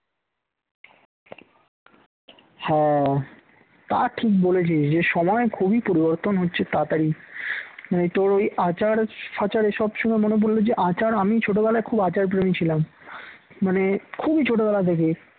হ্যাঁ তা ঠিক বলেছিস এ সময় খুবই পরিবর্তন হচ্ছে তাড়াতাড়ি মানে তোর ওই আচার-ফাঁচার এই সব শুনে মনে পড়ল যে আচার আমি ছোটবেলায় খুব আচার প্রেমী ছিলাম মানে খুবই ছোট বেলা থেকে।